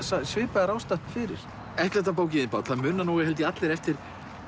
svipað er ástatt fyrir ellefta bókin þín Páll það muna held ég allir eftir